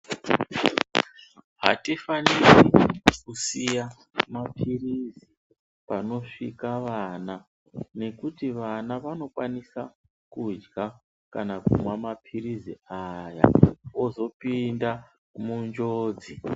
Hatifaniri kusiya maphirizi panosvika vana nekuti vana vanokwanisa kudya kana kumwa maphirizi aya ozopinda munjodzi.